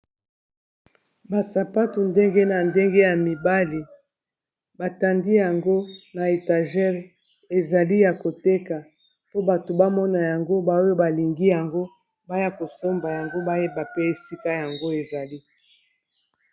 Ba sapatu ndenge na ndenge ya mibali batandi yango na etagere ezali ya koteka po bato bamona yango baoyo balingi yango baya kosomba yango bayeba pe esika yango ezali.